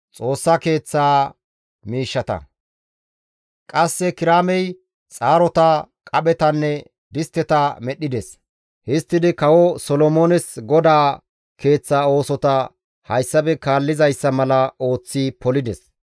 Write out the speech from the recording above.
Qasse Kiraamey xaarota, qaphetanne distteta medhdhides; histtidi kawo Solomoones GODAA Keeththa oosota hayssafe kaallizayssa mala ooththi polides.